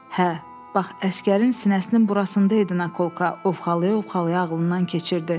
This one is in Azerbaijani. Hə, bax əsgərin sinəsinin burasında idi nakolka, ovxalaya-ovxalaya ağlından keçirdi.